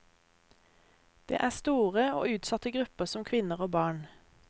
Det er store og utsatte grupper som kvinner og barn.